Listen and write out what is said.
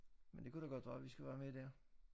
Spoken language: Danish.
Men det kunne da godt være vi skal være med dér